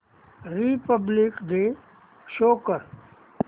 Republic day show कर